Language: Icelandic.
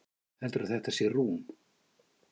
Heldurðu að þetta sé rúm?